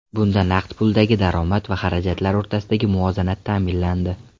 Bunda naqd puldagi daromad va xarajatlar o‘rtasidagi muvozanat ta’minlandi.